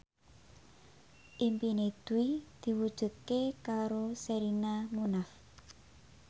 impine Dwi diwujudke karo Sherina Munaf